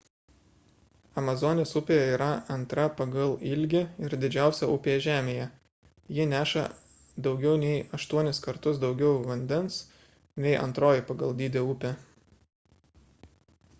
amazonės upė yra antra pagal ilgį ir didžiausia upė žemėje ji neša daugiau nei 8 kartus daugiau vandens nei antroji pagal dydį upė